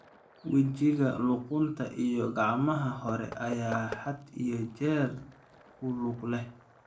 Wejiga, luqunta, iyo gacmaha hore ayaa had iyo jeer ku lug leh.